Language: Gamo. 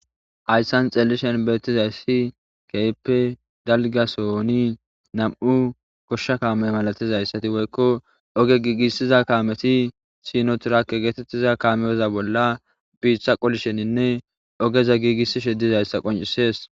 Hayssan xeelishen beetizayssi keyppe dalgasooni nam'u goshsha kaamey malatizayssati woykko oge giigissiza kaameti sinotirake geetettiza kaameyoza bolla biitha qolisheninne ogeza giigissishe dizayssa qoncisees.